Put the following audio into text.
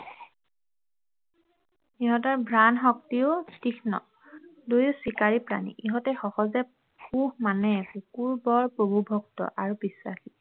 ইহঁতৰ ঘ্ৰাণ শক্তিও তীঘ্ন দুয়ো চিকাৰী প্ৰাণী ইহঁতে সহজতে পোহ মানে কুকুৰ বৰ প্ৰভুভক্ত আৰু বিশ্বাসী